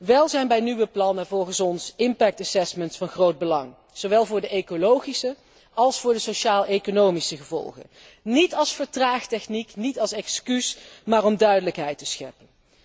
Wel zijn bij nieuwe plannen effectrapportages van groot belang, zowel voor de ecologische als voor de sociaaleconomische gevolgen, niet als vertraagtechniek, niet als excuus, maar om duidelijkheid te scheppen.